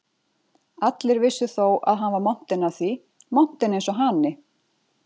Allir vissu þó að hann var montinn af því, montinn eins og hani.